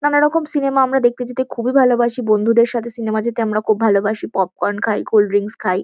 নানারকম সিনেমা আমরা দেখতে যেতে খুবই ভালোবাসি। বন্ধুদের সাথে সিনেমা যেতে আমরা খুব ভালোবাসি। পপকর্ন খাই কোল্ড ড্রিঙ্কস খাই।